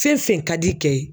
Fɛn fɛn ka d'i kɛ ye